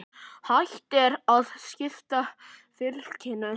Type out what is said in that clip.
Hægt er að skipta fylkinu